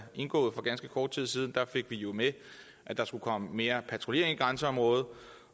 indgået for ganske kort tid siden fik vi jo med at der skulle komme mere patruljering i grænseområdet